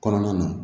Kɔnɔna na